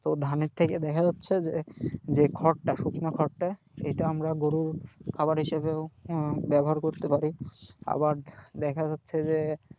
তো ধানের থেকে দেখা যাচ্ছে যে যে খড়টা শুকনো খড়টা সেইটা আমরা গরুর খাবার হিসাবেও হম ব্যবহার করতে পারি আবার দেখা যাচ্ছে যে,